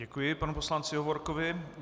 Děkuji panu poslanci Hovorkovi.